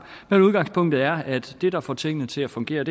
men udgangspunktet er at det der får tingene til at fungere